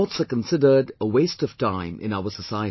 Sports are considered a waste of time in our society